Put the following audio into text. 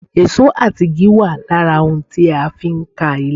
Èsó àti igi wà lára ohun tí a fi ń ka ilé